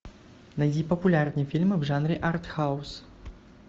найди популярные фильмы в жанре артхаус